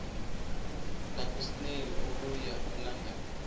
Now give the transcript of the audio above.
lukasnail okuya elondon